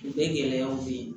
Bɛɛ gɛlɛyaw bɛ ye